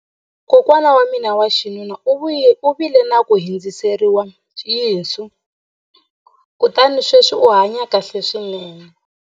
kokwana wa mina wa xinuna u vile na ku hundziseriwa yinsu kutani sweswi u hanye kahle swinene